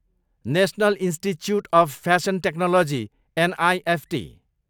national institute of fashion technology, NIFT